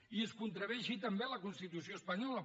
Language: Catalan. i es contravé així també a la constitució espanyola